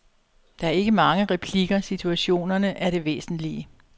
Der er ikke mange replikker, situationerne er det væsentlige.